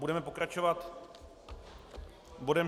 Budeme pokračovat bodem